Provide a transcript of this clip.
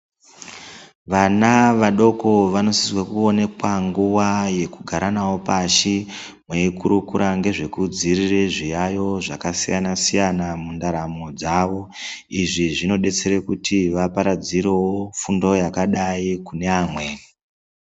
Vana vadoko vanosise kuonekwa nguva yekugara navo pashi mweikurukura ngezvekudziirire nezvezviyaiyo zvakasiyana-siyana mundaramo dzavo. Izvi zvinodetsere kuti vaparadzirewo fundo yakadai kune amweni.